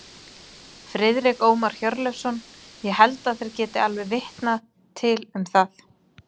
Friðrik Ómar Hjörleifsson: Ég held að þeir geti alveg vitnað til um það?